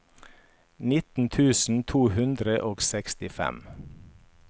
nittien tusen to hundre og sekstifem